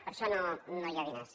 per a això no hi ha diners